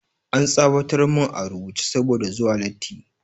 An tsawatar mun a rubuce saboda zuwa latti